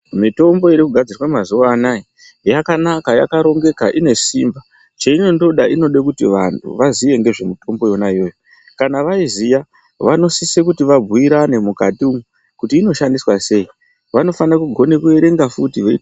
Mitombo iri kugadzirwa mazuwa anaya , yakanaka, yakarongeka, ine simba. Cheinondoda inode kuti vantu vaziye ngezvimitombo yona iyoyo. Kana vaiziya ,vanosise kuti vabhuirane mukati umu, kuti inoshandiswa sei. Vanofane kugone kuerenga futi vei....